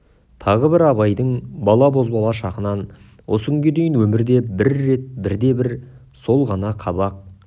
тағы бірі абайдың бала бозбала шағынан осы күнге дейін өмірде бір рет бірде-бір сол ғана қабақ